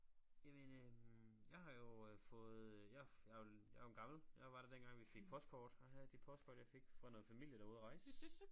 Jamen øh jeg har jo øh fået jeg jeg jeg jo en gammel jeg var der dengang vi fik postkort og her er de postkort jeg fik fra noget familie der var ude og rejse